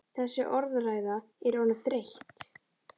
Þessi orðræða er orðin þreytt!